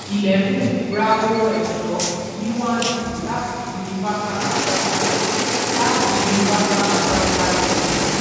eleven ra ohun ẹ̀ṣọ́ ní one two láti universal typewriter láti universal typewriter co.